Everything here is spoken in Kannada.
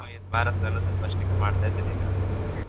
ಹಾಗಾಗಿ ಭಾರತದಲ್ಲೂ ಸ್ವಲ್ಪ strict ಮಾಡ್ತಾ ಇದ್ದಾರೀಗ.